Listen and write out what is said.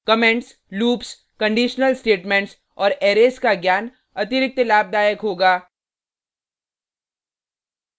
comments loops conditional statements और arrays का ज्ञान अतिरिक्त लाभदायक होगा